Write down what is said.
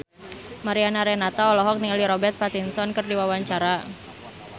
Mariana Renata olohok ningali Robert Pattinson keur diwawancara